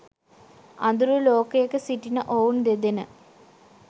අඳුරු ලෝකයක සිටින ඔවුන් දෙදෙන